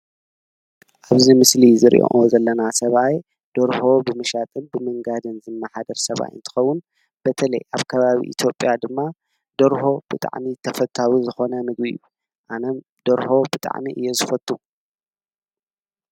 ኣብዚ ምስሊ እንርእዮ ዘለና ሰብኣይ ደርሆ ብምሻጥን ብምንጋድን ዝምሓደር ሰብኣይ እንትከዉን፣ በተለየ ኣብ ከባቢ ኢትዮጵያ ድማ ደርሆ ብጣዕሚ ተፈታዊ ዝኮነ ምግቢ እዩ:: ኣነም ደርሆ ብጣዕሚ እየ ዘፈቱ።